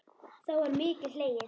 þá var mikið hlegið.